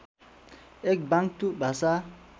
एक बाङ्तु भाषा